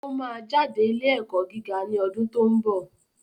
O máa jáde ilé ẹ̀kọ́ gíga ní ọdún tó ń bọ̀